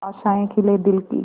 आशाएं खिले दिल की